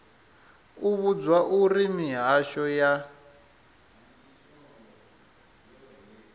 u vhudzwa uri mihasho ya